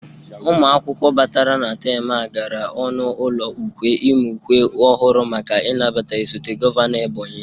Ụmụ akwụkwọ batara na tem a gara ọnụ ụlọ ukwe ịmụ ukwe ọhụrụ maka ị nabata osote gọvanọ Ebonyi